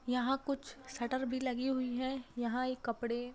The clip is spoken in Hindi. यहाँ कुछ शटर भी लगी हुई है यहाँ ये कपड़े --